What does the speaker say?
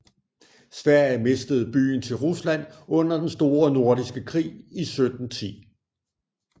Sverige mistede byen til Rusland under Den Store Nordiske Krig i 1710